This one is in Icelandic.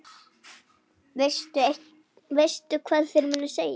Veistu hvað þeir munu segja?